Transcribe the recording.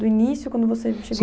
Do início, quando você chegou